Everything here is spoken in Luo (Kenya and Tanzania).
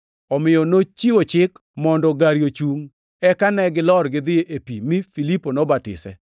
Omiyo nochiwo chik mondo gari ochungʼ. Eka ne gilor gidhi e pi mi Filipo nobatise.